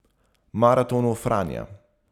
Maratonu Franja.